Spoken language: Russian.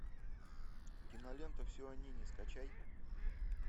кинолента все о нине скачай